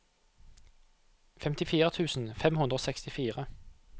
femtifire tusen fem hundre og sekstifire